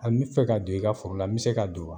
Aa n bi fɛ ka don i ka foro la n be se ka don wa?